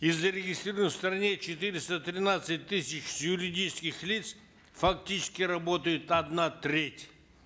из зарегистрированных в стране четыреста тринадцати тысяч юридических лиц фактически работает одна треть